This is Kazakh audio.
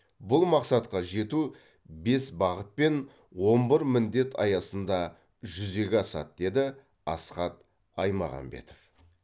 бұл мақсатқа жету бес бағыт пен он бір міндет аясында жүзеге асады деді асхат аймағамбетов